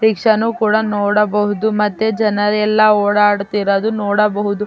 ರಿಕ್ಷಾನು ಕೂಡ ನೋಡಬಹುದು ಮತ್ತೆ ಜನರೆಲ್ಲಾ ಓಡಾಡುತ್ತಿರುವುದು ನೋಡಬಹುದು.